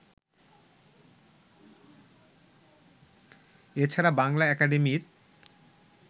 এছাড়া বাংলা একাডেমির